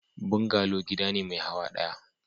Bungalow gida ne mai hawa daya.